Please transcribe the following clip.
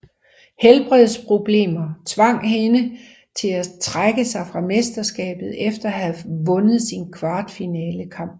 Helbredsproblemer tvang hendes til at trække sig fra mesterskabet efter at have vundet sin kvartfinalekamp